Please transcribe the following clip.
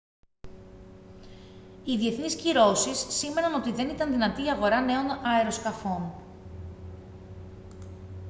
οι διεθνείς κυρώσεις σήμαιναν ότι δεν ήταν δυνατή η αγορά νέων αεροσκαφών